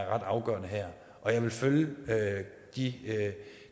afgørende her og jeg vil følge de